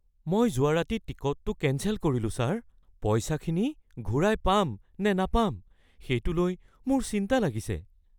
মই যোৱা ৰাতি টিকটটো কেঞ্চেল কৰিলোঁ, ছাৰ। পইচাখিনি ঘূৰাই পাম নে নাপাম সেইটো লৈ মোৰ চিন্তা লাগিছে।